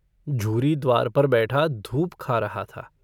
झूरी द्वार पर बैठा धूप खा रहा था।